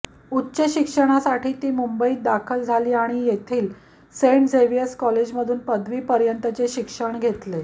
उच्चशिक्षणासाठी ती मुंबईत दाखल झाली आणि येथील सेंट झेवियर कॉलेजमधून पदवीपर्यंतचे शिक्षण घेतले